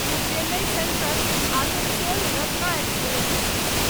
Chennai central Asansol Ratna express